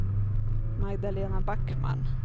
Magdalena Backman